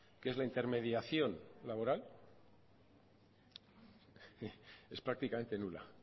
que es la intermediación laboral es prácticamente nula